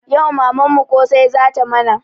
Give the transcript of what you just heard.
Yau mamanmu ƙosai zata mana